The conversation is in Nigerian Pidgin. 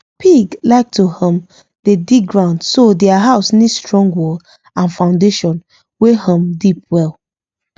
pig like to um dey dig ground so their house need strong wall and foundation wey um deep well